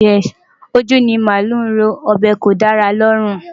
Ojú ni màálù ń rọ́, ọ̀bẹ kò dára lọ́rùn.